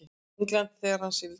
Englandi þegar hann sigldi.